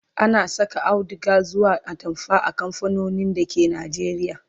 ana Saka auduga zuwa atamfa a kamfanonin dake Najeriya